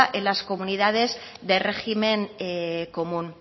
en las comunidades del régimen común